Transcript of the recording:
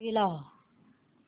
TV लाव